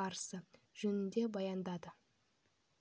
барысы жөнінде баяндады